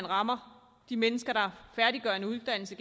rammer de mennesker der færdiggør en uddannelse